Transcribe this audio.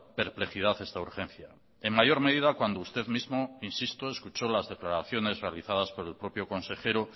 perplejidad esta urgencia en mayor medida cuando usted mismo insisto escuchó las declaraciones realizadas por el propio consejero